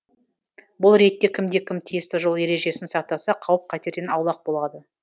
бұл ретте кімде кім тиісті жол ережесін сақтаса қауіп қатерден аулақ болады